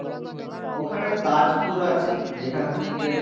ওখানে তাজপুর আছে যেখান থেকে,